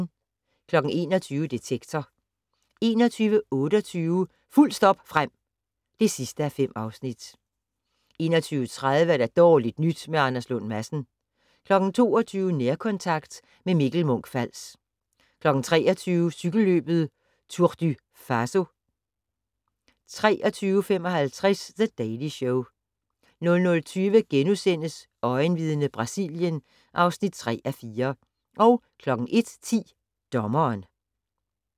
21:00: Detektor 21:28: Fuldt stop frem (5:5) 21:30: Dårligt nyt med Anders Lund Madsen 22:00: Nærkontakt - med Mikkel Munch-Fals 23:00: Cykelløbet Tour du Faso 23:55: The Daily Show 00:20: Øjenvidne - Brasilien (3:4)* 01:10: Dommeren